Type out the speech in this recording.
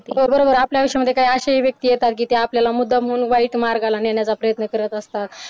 हो बरोबर आपल्या आयुष्यामध्ये काही अशीही व्यक्ती येतात कि ते आपल्याला मुद्दाम म्हणून वाईट मार्गाला नेण्याचा प्रयत्न करत असतात.